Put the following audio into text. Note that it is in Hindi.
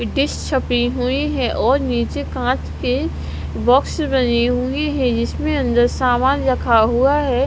डिश छपी हुई हैं और नीचे कांच के बॉक्स बने हुए हैं जिसमें अंदर सामान रखा हुआ है।